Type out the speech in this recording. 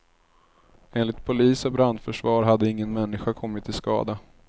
Enligt polis och brandförsvar hade ingen människa kommit till skada.